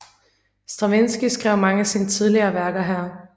Stravinskij skrev mange af sine tidlige værker her